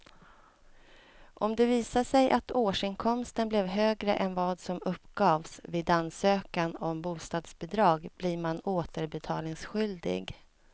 Om det visar sig att årsinkomsten blev högre än vad som uppgavs vid ansökan om bostadsbidrag blir man återbetalningsskyldig.